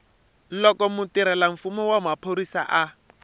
loko mutirhelamfumo wa xiphorisa a